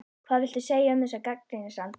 Hvað viltu segja um þessar gagnrýnisraddir?